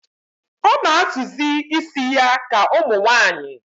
O na azụ zi ísì ya ka umunwanyi